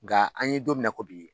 Nka an ye don min na i ko bi